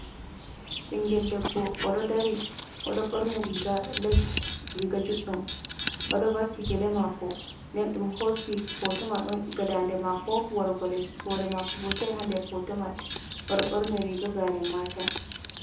Ɓingel debbo o ɗo dari o ɗo ɓorni riga les, riga juɗɗum o ɗo vaki gele mako, nden ɗum hosi fotoman on iga dande mako warugo les hore mako burtai ha nder fotoman, woɗo ɓorni riga garen Mata.